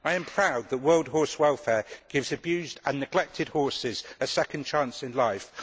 I am proud that the World Horse Welfare gives abused and neglected horses a second chance in life